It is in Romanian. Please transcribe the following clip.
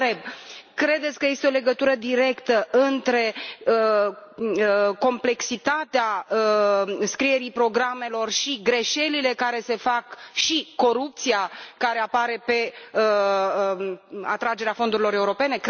Vă întreb credeți că este o legătură directă între complexitatea scrierii programelor și greșelile care se fac și corupția care apare în cadrul atragerii fondurilor europene?